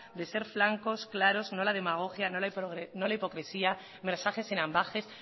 de ser flancos claros no la demagogia no la hipocresía mensajes sin ambages